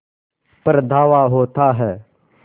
पर धावा होता है